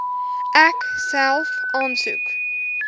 ek self aansoek